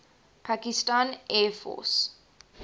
pakistan air force